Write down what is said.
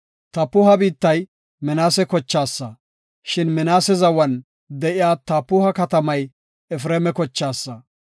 Tapuha biittay Minaase kochaasa, shin Minaase zawan de7iya Tapuha katamay Efreema kochaasa.